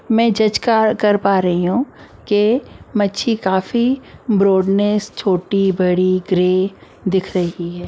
मैं जज कर पा रही हूं कि मच्छी काफी ब्रॉडनेस छोटी बड़ी ग्रे दिख रही है।